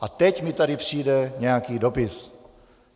A teď mi tady přijde nějaký dopis.